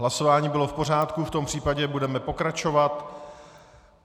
Hlasování bylo v pořádku, v tom případě budeme pokračovat.